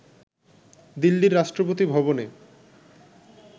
দিল্লির রাষ্ট্রপতি ভবনে